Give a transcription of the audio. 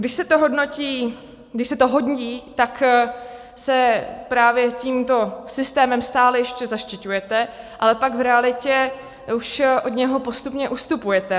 Když se to hodí, tak se právě tímto systémem stále ještě zaštiťujete, ale pak v realitě už od něj postupně ustupujete.